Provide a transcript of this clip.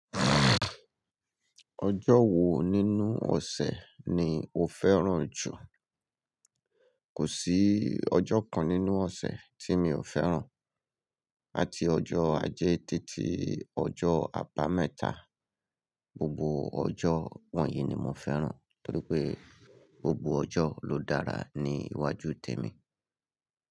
Ọjọ́ wo nínú ọ̀sẹ̀ ni o fẹ́ràn jù? Kò sí ọjọ́ kan nínú ọ̀sẹ̀ tí mi ò fẹ́ràn. Láti ọjọ́ ajé títí ọjọ́ àbámẹ́ta, gbogbo ọjọ́ wọ̀nyí ni mo fẹ́ràn torí pé gbogbo ọjọ́ ló dára ní iwájú tèmi.